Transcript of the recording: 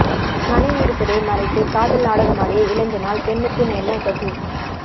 மனைவி இருப்பதை மறைத்து காதல் நாடகமாடிய இளைஞனால் பெண்ணுக்கு நேர்ந்த கதி